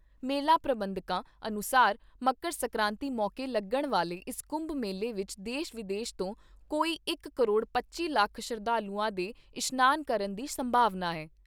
ਮੇਲਾ ਪ੍ਰਬੰਧਕਾਂ ਅਨੁਸਾਰ ਮਕਰ ਸੰਕਰਾਂਤੀ ਮੌਕੇ ਲੱਗਣ ਵਾਲੇ ਇਸ ਕੁੰਭ ਮੇਲੇ ਵਿਚ ਦੇਸ਼ ਵਿਦੇਸ਼ ਤੋਂ ਕੋਈ ਇਕ ਕਰੋੜ ਪੱਚੀ ਲੱਖ ਸ਼ਰਧਾਲੂਆਂ ਦੇ ਇਸ਼ਨਾਨ ਕਰਨ ਦੀ ਸੰਭਾਵਨਾ ਏ।